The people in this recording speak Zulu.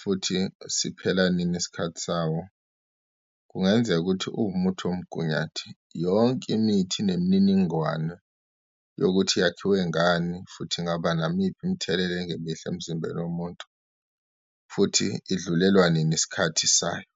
futhi siphela nini isikhathi sawo, kungenzeka ukuthi uwumuthi womgunyathi. Yonke imithi inemininingwano yokuthi yakhiwe ngani, futhi ingaba namiphi imithelela engemihle emzimbeni womuntu, futhi idlulelwa nini isikhathi sayo.